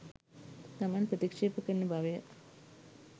තමන් ප්‍රතික්ෂේප කරන බවය